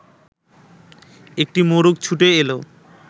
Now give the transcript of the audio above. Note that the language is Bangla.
একটি মোরগ ছুটে এলো